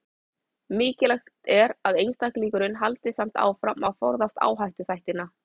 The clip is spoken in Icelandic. Mikilvægt er að einstaklingurinn haldi samt áfram að forðast áhættuþættina.